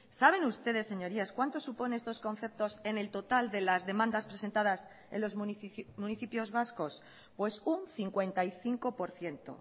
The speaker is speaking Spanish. saben ustedes señorías cuanto supone estos conceptos en el total de las demandas presentadas en los municipios vascos pues un cincuenta y cinco por ciento